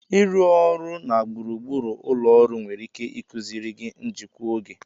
Ịrụ ọrụ na gburugburu ụlọ ọrụ nwere ike ịkụziri gị njikwa oge.